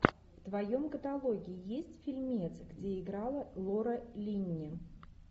в твоем каталоге есть фильмец где играла лора линни